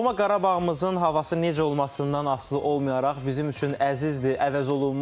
Doğma Qarabağımızın havası necə olmasından asılı olmayaraq bizim üçün əzizdir, əvəzolunmazdır.